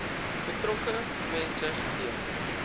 betrokke mense geteken